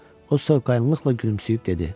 O soyuqqanlıqla gülümsəyib dedi: